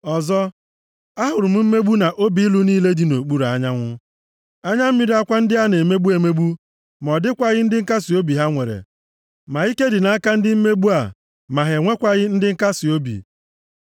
Ọzọ, ahụrụ m mmegbu na obi ilu niile dị nʼokpuru anyanwụ, anya mmiri akwa ndị a na-emegbu emegbu, ma ọ dịkwaghị ndị nkasiobi ha nwere, ma ike dị nʼaka ndị mmegbu a, ma ha enwekwaghị ndị nkasiobi.